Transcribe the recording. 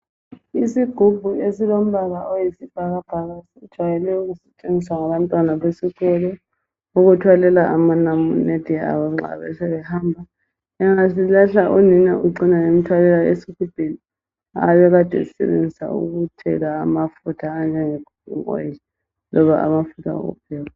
Isigubhu esilombala oyisibhakabhaka sijwayele ukusetshenziswa ngabantwana besikolo ukuthwalela amanamunede abo nxa sebehamba engasilahla unina ucina emthwalela esigubhini abe kade esisebenzisa ukuthela amafutha anjenge "cooking oil" loba amafutha okupheka.